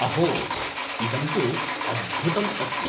अहो, इदं तु अद्भुतम् अस्ति।